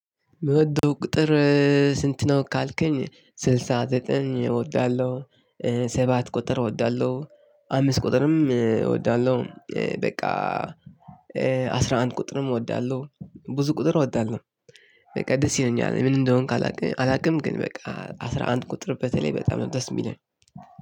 የምትወደው ቁጥር ስንት ነው ካልከኝ ስልሳ ዘጠኝ እወዳለሁ። ሰባት ቁጥር እወዳለሁ አምስት ቁጥርም አወዳለሁ። በቃ አስራ አንድ ቁጥርም እወዳለሁ ብዙ ቁጥር እወዳለሁ። በቃ ደስ ይለኛል ምን እንደሆንኩኝ አላቅም። ግን በቃ አስራ አንድ ቁጥር በተለይ በጣም ነው ደስ የሚለኝ።